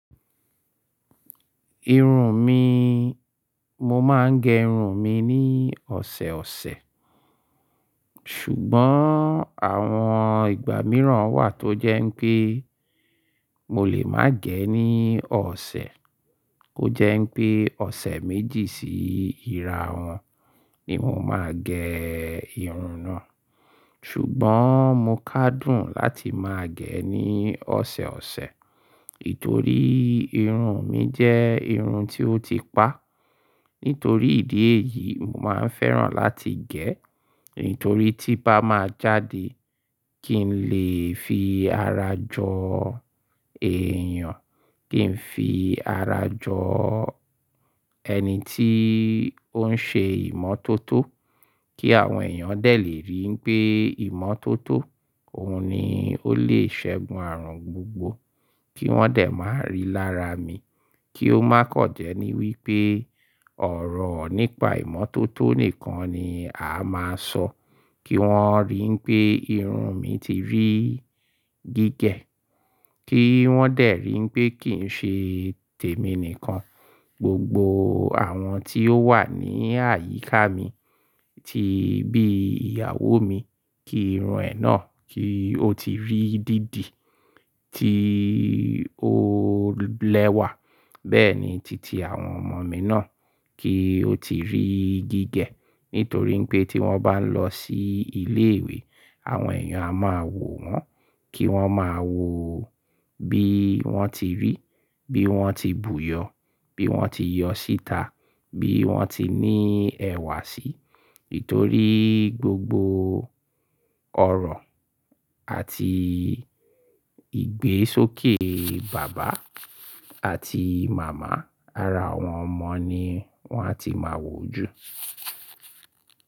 Irun mi, mo máa ń gẹ irun mi ní ọ̀sẹ̀ ọ̀sẹ̀. Ṣùgbọ́n àwọn ìgbà mìíràn wà tó jẹ́ pé mo lè má gẹ ní ọ̀sẹ̀. Ó jẹ́ mpé ọ̀sẹ̀ méjì sí ìrà wọn ni mo máa gẹ irun náà. Ṣùgbọ́n mo kádùn láti máa gẹ ní ọ̀sẹ̀ ọ̀sẹ̀, nítorí irun mi jẹ́ irun tí ó ti pa. Nítorí ìdí èyí, mo máa ń fẹ́ràn láti gẹ, nítorí tí bá máa jáde kí n lè fi ara jọ èèyàn, kí n fi ara jọ ẹni tí ó ń ṣe ìmọ́tótó, kí àwọn èèyàn dẹ̀ lè rí pé ìmọ́tótó òun ni ó lè sẹ́gun àrùn gbogbo. Kí wọ́n dẹ̀ máa rí lára mi, kí ó máa kọ̀ jẹ́ ní wípé ọ̀rọ̀ nípa ìmọ́tótó nìkan ni a máa ń sọ. Kí wọ́n rín pé irun mi ti rí gígẹ̀. Kí wọ́n dẹ̀ rí mpé kì ń ṣe tèmi nìkan, gbogbo àwọn tí ó wà ní àyíká mi, tí bí ìyàwó mi kí irun ẹ̀ náà kí ó ti rí dídì tí ó lẹ́wà, bẹ́ẹ̀ ni titi àwọn ọmọ mi náà kí ó ti rí gígẹ̀. Nítorí pé tí wọ́n bá lọ sí ilé ìwé, àwọn èèyàn a máa wò wọ́n, kí wọ́n máa wo bí wọ́n ti rí, bí wọ́n ti bù yọ, bí wọ́n ti yọ síta, bí wọ́n ti ní ẹ̀wà sí, nítorí gbogbo ọ̀rọ̀ àti ìgbésókè bàbá àti màmá ara àwọn ọmọ ni wọ́n á ti máa wò jù.